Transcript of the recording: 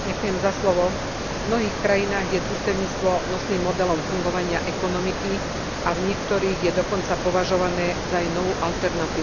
V mnohých krajinách je družstevníctvo nosným modelom fungovania ekonomiky a v niektorých je dokonca považované za jej novú alternatívu.